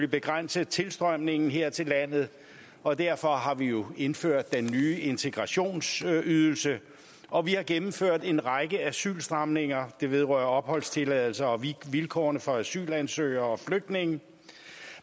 begrænse tilstrømningen her til landet og derfor har vi jo indført den nye integrationsydelse og vi har gennemført en række asylstramninger det vedrører opholdstilladelse og vilkårene for asylansøgere og flygtninge